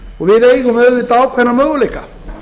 við eigum auðvitað ákveðna möguleika